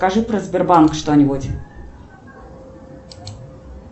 скажи про сбербанк что нибудь